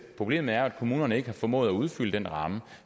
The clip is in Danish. problemet er at kommunerne ikke har formået at udfylde den ramme